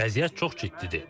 Vəziyyət çox ciddidir.